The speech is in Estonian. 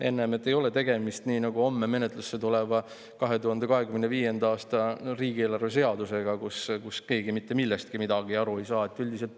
Ei ole tegemist sellise eelnõuga nagu ülehomme tuleva 2025. aasta riigieelarve seaduse puhul, millest keegi mitte midagi aru ei saa.